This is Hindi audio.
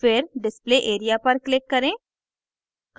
फिर display area पर click करें